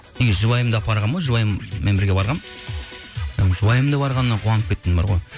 жұбайымды апарғанмын ғой жұбайыммен бірге барғанмын і жұбайымның да барғанына қуанып кеттім бар ғой